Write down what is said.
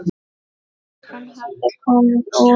Hann hafði komið úr